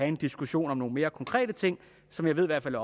en diskussion af nogle mere konkrete ting som jeg ved i hvert fald